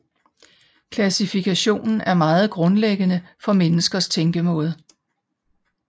Klassifikation er meget grundlæggende for menneskers tænkemåde